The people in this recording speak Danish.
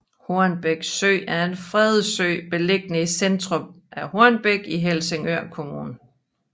Hornbæk Sø er en fredet sø beliggende i centrum af Hornbæk i Helsingør Kommune